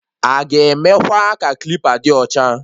Aga emekwa ka klipa dị ọcha?